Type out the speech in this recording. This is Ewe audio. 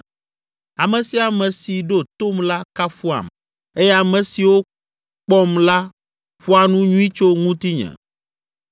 Ame sia ame si ɖo tom la kafuam eye ame siwo kpɔm la ƒoa nu nyui tso ŋutinye